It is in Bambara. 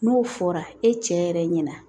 N'o fɔra e cɛ yɛrɛ ɲɛna